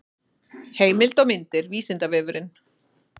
heimild og myndir vísindavefurinn